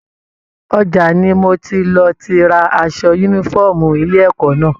Ọjà ní mò tí lọ tí rà aṣọ yúnífọ̀ọ́mù ilé ẹ̀kọ́ náà.